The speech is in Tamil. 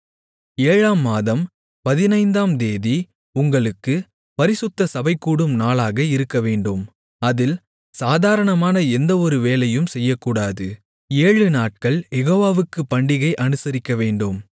ஏழாம் மாதம் பதினைந்தாம் தேதி உங்களுக்குப் பரிசுத்த சபைகூடும் நாளாக இருக்கவேண்டும் அதில் சாதாரணமான எந்த ஒரு வேலையும் செய்யக்கூடாது ஏழு நாட்கள் யெகோவாவுக்குப் பண்டிகை அனுசரிக்கவேண்டும்